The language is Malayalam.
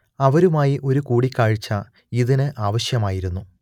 അവരുമായി ഒരു കൂടിക്കാഴ്ച ഇതിന് ആവശ്യമായിരുന്നു